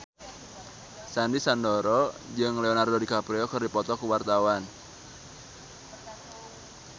Sandy Sandoro jeung Leonardo DiCaprio keur dipoto ku wartawan